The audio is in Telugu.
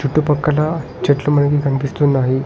అటు పక్కల చెట్లు మనకి కనిపిస్తున్నాయి.